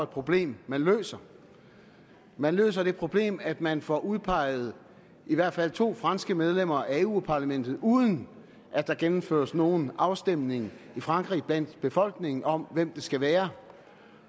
problem man løser man løser det problem at man får udpeget i hvert fald to franske medlemmer af europa parlamentet uden at der gennemføres nogen afstemning i frankrig blandt befolkningen om hvem det skal være